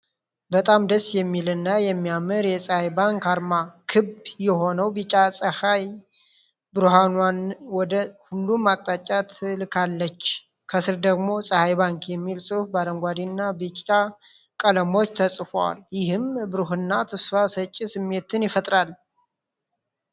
በጣም ደስ የሚል እና የሚያምር የጸሐይ ባንክ አርማ! ክብ የሆነው ቢጫ ጸሐይ ብርሃኗን ወደ ሁሉም አቅጣጫ ትልካለች። ከስር ደግሞ "ጸሐይ ባንክ" የሚል ጽሑፍ በአረንጓዴና በቢጫ ቀለሞች ተጽፏል፤ ይህም ብሩህና ተስፋ ሰጪ ስሜትን ይፈጥራል።